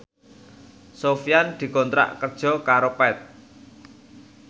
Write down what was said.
Sofyan dikontrak kerja karo Path